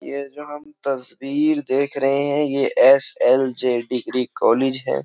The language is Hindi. ये तस्वीर देख रहे हैं ये S L J degree college है।